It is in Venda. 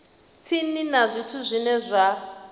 tsini na zwithu zwine zwa